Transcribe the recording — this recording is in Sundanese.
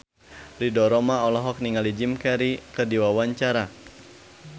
Ridho Roma olohok ningali Jim Carey keur diwawancara